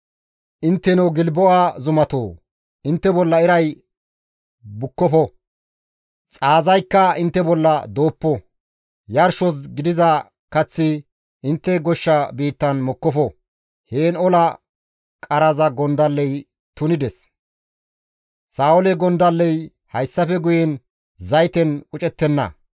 «Intteno Gilbo7a zumatoo! Intte bolla iray bukkofo; xaazaykka intte bolla dooppo; yarshos gidiza kaththi intte goshsha biittan mokkofo. Heen ola qaraza gondalley tunides; Sa7oole gondalley hayssafe guyen zayten qucettenna.